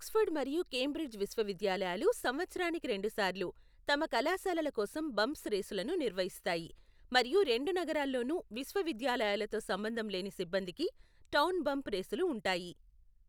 Oxford మరియు Cambridge విశ్వవిద్యాలయాలు సంవత్సరానికి రెండుసార్లు తమ కళాశాలల కోసం బంప్స్ రేసులను నిర్వహిస్తాయి, మరియు రెండు నగరాల్లోనూ విశ్వవిద్యాలయాలతో సంబంధంలేని సిబ్బందికి టౌన్ బంప్ రేసులు ఉంటాయి.